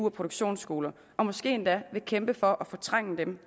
og produktionsskoler og måske endda vil kæmpe for at fortrænge dem